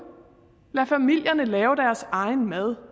lad familierne lave deres egen mad